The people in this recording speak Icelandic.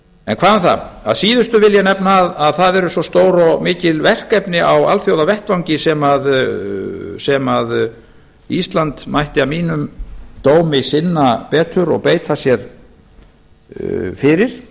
en hvað um það að síðustu vil ég nefna að það eru stór og mikil verkefni á alþjóðavettvangi sem ísland mætti að mínum dómi sinna betur og beita sér fyrir